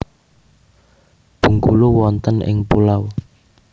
Bengkulu wonten ing pulau